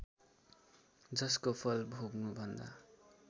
जसको फल भोग्नुभन्दा